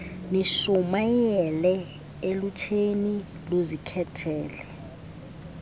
nishumayele elutsheni luzikhethele